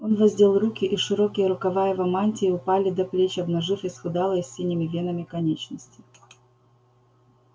он воздел руки и широкие рукава его мантии упали до плеч обнажив исхудалые с синими венами конечности